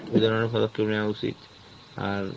ওই জন্য পদক্ষেপ নেওয়া উচিত আর